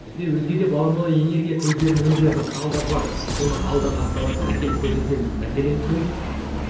бізде өзге де баламалы энергия көздерін өндіретін құралдар бар оны алдағы апталарда әкеліп көрсетеміз мәселен күн